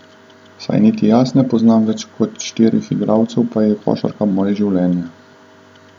Saj niti jaz ne poznam več kot štirih igralcev, pa je košarka moje življenje.